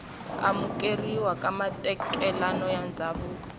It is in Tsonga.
amukeriwa ka matekanelo ya ndzhavuko